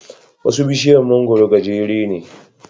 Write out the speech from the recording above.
Wasu bishiyar mangwaro gajere ne.